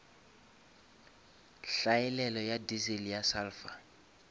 hlaelelo ya diesel ya sulphur